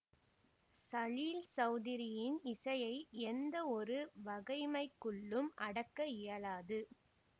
சலீல் சௌதுரியின் இசையை எந்த ஒரு வகைமைக்குள்ளும் அடக்க இயலாது